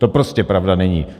To prostě pravda není.